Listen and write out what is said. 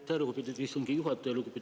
Aitäh, lugupeetud istungi juhataja!